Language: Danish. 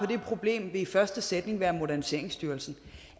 det problem vil i første sætning være moderniseringsstyrelsen